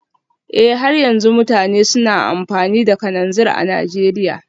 Eh har yanzu mutane suna amfani da kananzir a Najeriya